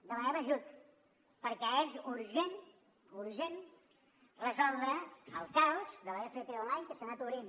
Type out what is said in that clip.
demanem ajut perquè és urgent urgent resoldre el caos de l’fp online que s’ha anat obrint